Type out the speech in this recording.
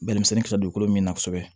Bɛnɛ misɛnnin fila dugukolo min na kosɛbɛ